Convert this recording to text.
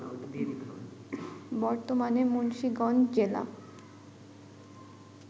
বর্তমানে মুন্সিগঞ্জ জেলা